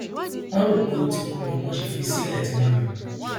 wọn rò pé ó ti kú ni wọn ṣe fi í sílẹ tí wọn lọ